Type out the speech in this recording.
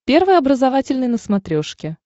первый образовательный на смотрешке